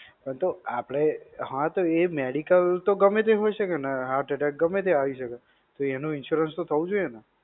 હા તો આપણે, હા તો એ medical તો ગમે તે હોય શકે ને, Heart attack તો ગમે ત્યાં આવી શકે. તો એનો insurance તો થવું જોઈએ ને?